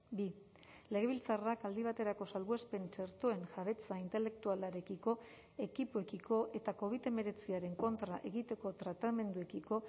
bi legebiltzarrak aldi baterako salbuespen txertoen jabetza intelektualarekiko ekipoekiko eta covid hemeretziaren kontra egiteko tratamenduekiko